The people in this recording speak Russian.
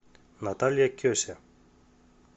наталья кеся